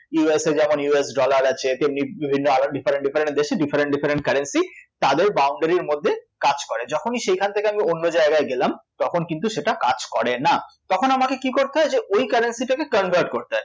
USA যেমন US dollar আছে তেমনি আরও different different দেশে different different currency তাদের boundary এর মধ্যে কাজ করে, যখনই সেখান থেকে আমি অন্য জায়গায় গেলাম তখন ইন্তু সেটা কাজ করে না, তখন আমাকে কী করতে হয় যে ওই currency টাকে convert করতে হয়